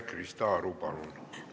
Krista Aru, palun!